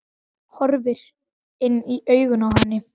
Horfir inn í augun á henni.